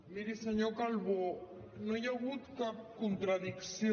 miri senyor calbó no hi ha hagut cap contradicció